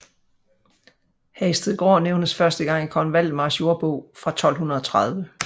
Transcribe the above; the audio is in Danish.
Hagestedgaard nævnes første gang i kong Valdemars jordbog fra 1230